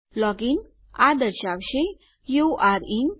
login ઠીક છે આ દર્શાવશે યુરે ઇન